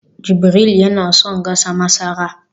jibril yana son gasa masara